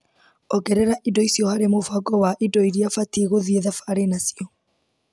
Ongerera indo icio harĩ mũbango wa indo iria batiĩ gũthiĩ thabarĩ nacio.